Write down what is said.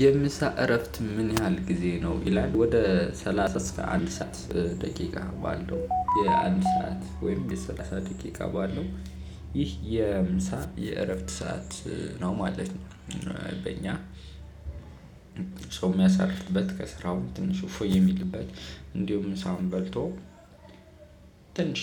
የምሳ እረፍት ምን ያህል ጊዜ ነው? ይላል ወደ ሰላሳ አንድ ሰዓት ደቂቃ ባለው የአንድ ሰዓት ወይም የሰላሳ ደቂቃ ባለው ይህ የምሳ የእረፍት ሰዓት ነው ማለት ነው። በእኛ ሰው የሚያሳርፍበት ከስራው ትንሽ እፎይ የሚልበት እንዲሁም ምሳውን በልቶ ትንሽ